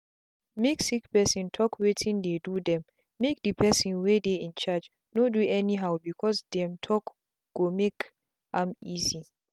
make sick people talk wetin dey do themmake the person wey dey incharge no do anyhow because them talkgo make am easy.